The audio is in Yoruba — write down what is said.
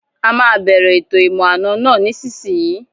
A máa bẹ̀rẹ̀ ètò ìmọ̀-àna náà nísìsiyìí